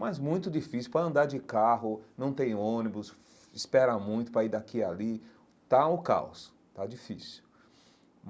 Mas muito difícil, para andar de carro, não tem ônibus, espera muito para ir daqui e ali, está um caos, está difícil.